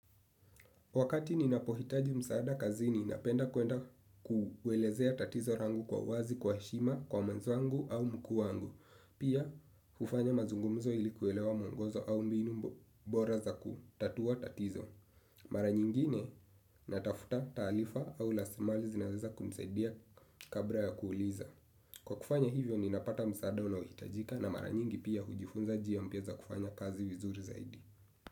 Wakati ninapohitaji msaada kazini napenda kwenda kuelezea tatizo langu kwa uwazi kwa heshima kwa mwenzangu au mkuu wangu. Pia hufanya mazungumzo ili kuelewa mwongozo au mbinu bora za kutatua tatizo. Mara nyingine natafuta taarifa au rasilimali zinazoweza kunisaidia kabla ya kuuliza. Kwa kufanya hivyo ninapata msaada unaohitajika na mara nyingi pia hujifunza njia mpya za kufanya kazi vizuri zaidi.